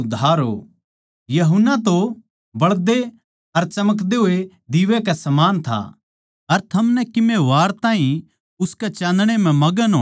यूहन्ना तो बळदे अर चमकदे होए दीवै कै समान था अर थमनै किमे वार ताहीं उसकै चान्दणै म्ह मगण होणा भाया